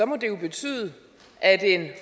må det jo betyde at en